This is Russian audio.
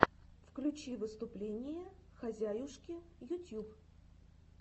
включи выступление хозяюшки ютьюб